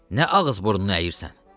Nə ağız-burnunu əyirsən?